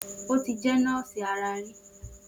O ti jẹ́ nọ́ọ̀sì ara rí.